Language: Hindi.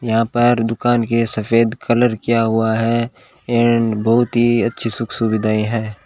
यहां पर दुकान के सफेद कलर किया हुआ है एंड बहुत ही अच्छी सुख सुविधाएं हैं।